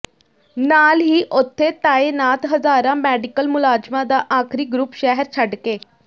ਨਾਲ ਹੀ ਉਥੇ ਤਾਇਨਾਤ ਹਜ਼ਾਰਾਂ ਮੈਡੀਕਲ ਮੁਲਾਜ਼ਮਾਂ ਦਾ ਆਖਰੀ ਗਰੁੱਪ ਸ਼ਹਿਰ ਛੱਡ ਕੇ